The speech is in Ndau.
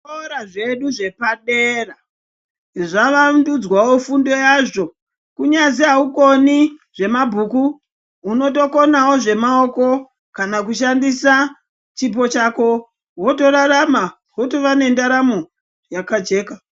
Zvikora zvedu zvepadera zvavandudzwao fundo yazvo kunyati aukoni zvemabhuku untokonao zvemaoko kana kushandisa chipo chako wotorarama wotova nendaramo yakajeka.